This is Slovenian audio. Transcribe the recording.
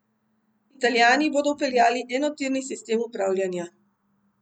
Italijani bodo vpeljali enotirni sistem upravljanja.